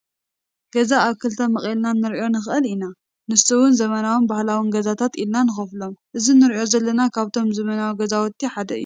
ገዛ ኣብ ክልተ መቂልና ክንሪኦ ንእል ኢና ፣ንሱ እውን ዘመናውን ባህላው ገዛታት ኢልና ንከፍሎም ።እዚ እነሪኦ ዘለና ካብቶም ዘመናዊ ገዛውቲ ሓደ እዩ።